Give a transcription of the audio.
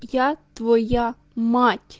я твоя мать